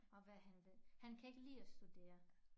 Og hvad han vil han kan ikke lide at studere